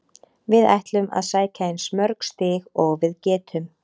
Við ætlum að sækja eins mörg stig og við getum.